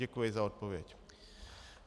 Děkuji za odpověď.